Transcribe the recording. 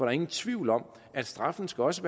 er ingen tvivl om at straffen også